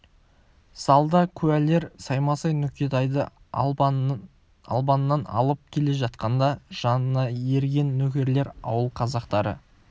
залда куәлер саймасай нүкетайды албаннан алып келе жатқанда жанына ерген нөкерлер ауыл қазақтары